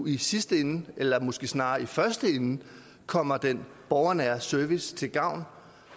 i sidste ende eller måske snarere i første ende kommer den borgernære service til gavn